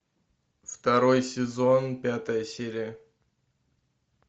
второй сезон пятая серия